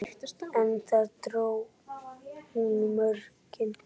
En þar dró hún mörkin.